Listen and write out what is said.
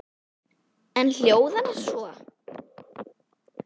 Hún hljóðar svo